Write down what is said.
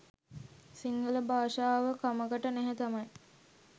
සිංහල භාෂාව කමකට නැහැ තමයි.